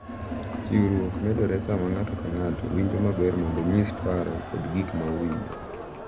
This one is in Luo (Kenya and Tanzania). Chiwruok medore sama ng’ato ka ng’ato winjo maber mondo onyis paro kod gik ma owinjo